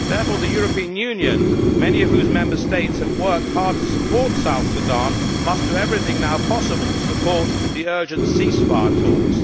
Therefore, the European Union, many of whose Member States have worked hard to support South Sudan, must do everything now possible to support the urgent ceasefire talks.